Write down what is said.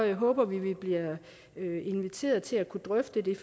håber vi vi bliver inviteret til at kunne drøfte det